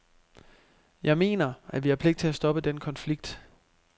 Jeg mener, at vi har pligt til at stoppe den konflikt.